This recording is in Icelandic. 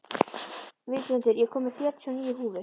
Víglundur, ég kom með fjörutíu og níu húfur!